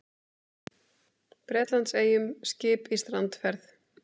Bretlandseyjum skip í strandferð.